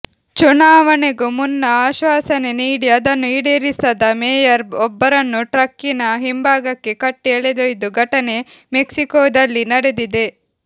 ಚುನಾವಣೆಗೂ ಮುನ್ನ ಆಶ್ವಾಸನೆ ನೀಡಿ ಅದನ್ನು ಈಡೇರಿಸದ ಮೇಯರ್ ಒಬ್ಬರನ್ನು ಟ್ರಕ್ಕಿನ ಹಿಂಭಾಗಕ್ಕೆ ಕಟ್ಟಿ ಎಳೆದೊಯ್ದ ಘಟನೆ ಮೆಕ್ಸಿಕೋದಲ್ಲಿ ನಡೆದಿದೆ